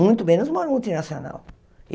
Muito menos numa multinacional.